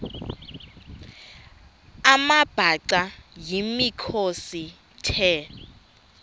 amabhaca yimikhosi the